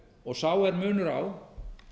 og sá er munur á